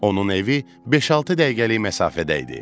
Onun evi beş-altı dəqiqəlik məsafədə idi.